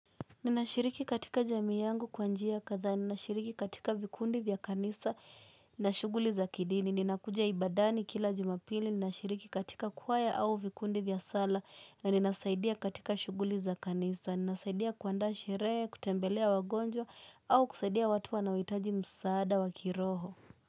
Ninashiriki katika jamii yangu kwa njia kadhaa, ninashiriki katika vikundi vya kanisa na shuguli za kidini. Ninakujia ibadani kila jumapili, ninashiriki katika kwaya au vikundi vya sala, na ninasaidia katika shuguli za kanisa, ninasaidia kuandaa shirehe, kutembelea wagonjwa, au kusaidia watu wanaoitaji msaada wa kiroho.